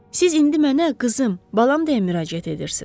Siz indi mənə qızım, balam deyə müraciət edirsiz.